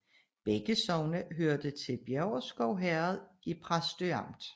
Begge sogne hørte til Bjæverskov Herred i Præstø Amt